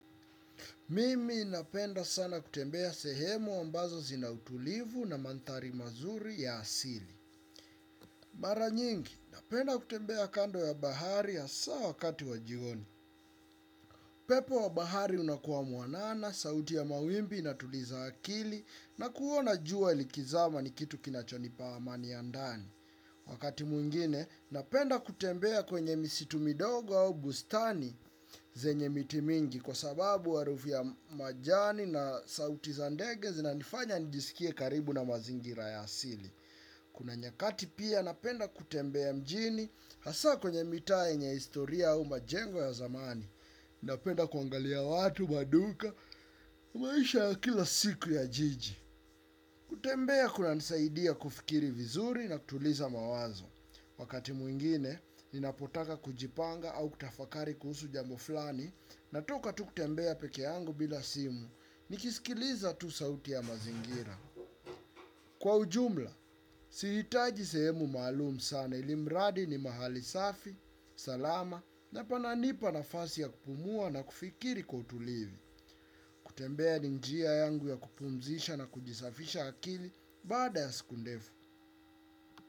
Mimi napenda sana kutembea sehemu ambazo zina utulivu na mandhari mazuri ya asili. Mara nyingi napenda kutembea kando ya bahari hasa wakati wa jioni. Upepo wa bahari unakuwa mwanana, sauti ya mawimbi inatuliza akili na kuona jua likizama ni kitu kinachonipa amani ya moyo. Wakati mwingine napenda kutembea kwenye misitu midogo au bustani zenye miti mingi kwa sababu harufu ya majani na sauti za ndege zinanifanya nijisikie karibu na mazingira ya asili. Kuna nyakati pia napenda kutembea mjini hasa kwenye mitaa yenye historia au majengo ya zamani. Napenda kuangalia watu maduka maisha ya kila siku ya jiji. Kutembea kunanisaidia kufikiri vizuri na kutuliza mawazo. Wakati mwingine, ninapotaka kujipanga au kutafakari kuhusu jambo fulani, natoka tu kutembea pekee yangu bila simu, nikisikiliza tu sauti ya mazingira. Kwa ujumla, sijitaji sehemu maalum sana ili mradi ni mahali safi, salama na pananipa nafasi ya kupumua na kufikiri kwa utulivu kutembea ni njia yangu ya kupumzisha na kuisafisha akili baada ya siku ndefu.